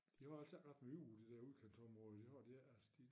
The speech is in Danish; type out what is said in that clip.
De har altså ret meget ude i de dér udkantsområder